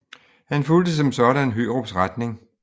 Han fulgte som sådan Hørups retning